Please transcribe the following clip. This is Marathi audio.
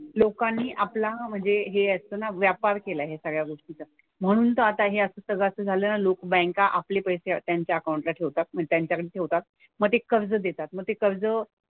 लोकांनी आपला म्हणजे हे असतं ना व्यापार केलाय ह्या सगळ्या गोष्टीचा. म्हणून तर आता हे असं सगळं असं झालं ना लोक बँका आपले पैसे त्यांच्या अकाउंट ठेवतात म्हणजे त्यांच्याकडे ठेवतात. मग ते कर्ज देतात. मग ते कर्ज,